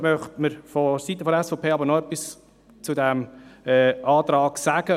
Vonseiten der SVP möchten jedoch noch etwas zu diesem Antrag sagen.